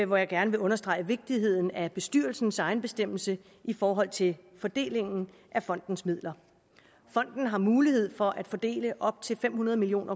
hvor jeg gerne vil understrege vigtigheden af bestyrelsens egenbestemmelse i forhold til fordelingen af fondens midler fonden har mulighed for at fordele op til fem hundrede million